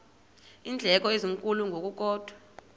iindleko ezinkulu ngokukodwa